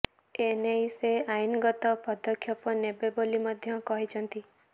ଏନେଇ ସେ ଆଇନଗତ ପଦକ୍ଷେପ ନେବେ ବୋଲି ମଧ୍ୟ କହିଛନ୍ତି